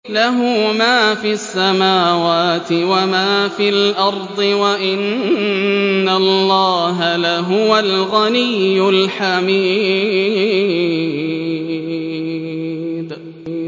لَّهُ مَا فِي السَّمَاوَاتِ وَمَا فِي الْأَرْضِ ۗ وَإِنَّ اللَّهَ لَهُوَ الْغَنِيُّ الْحَمِيدُ